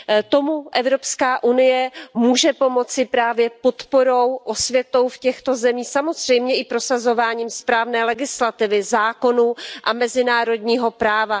Tomu Evropská unie může pomoci právě podporou, osvětou v těchto zemích, samozřejmě i prosazováním správné legislativy, zákonů a mezinárodního práva.